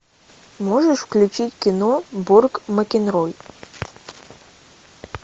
можешь включить кино борг макинрой